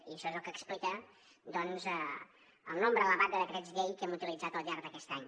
i això és el que explica el nombre elevat de decrets llei que hem utilitzat al llarg d’aquest any